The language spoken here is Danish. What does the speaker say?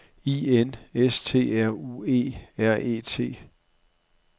I N S T R U E R E T